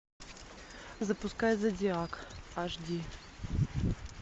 запускай зодиак аш ди